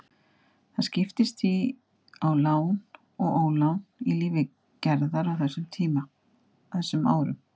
Það skiptist því á lán og ólán í lífi Gerðar á þessum árum.